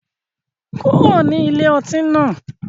kuro ni ilé ọti náà